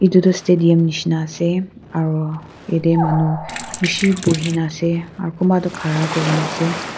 edu tu stadium nishina ase aro yatae manu bishi buhina ase aro kunba toh khara kurna ase.